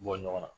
Bɔ ɲɔgɔn na